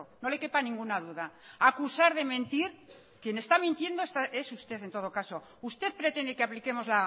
no le quepa ninguna duda acusar de mentir quien está mintiendo es usted en todo caso usted pretende que apliquemos